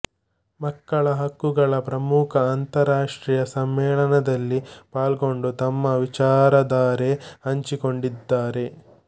ಮಕ್ಕಳ ಹಕ್ಕುಗಳ ಪ್ರಮುಖ ಅಂತರಾಷ್ಟ್ರಿಯ ಸಮ್ಮೇಳನದಲ್ಲಿ ಪಾಲ್ಗೊಂಡು ತಮ್ಮ ವಿಚಾರಧಾರೆ ಹಂಚಿಕೊಂಡಿದ್ದಾರೆ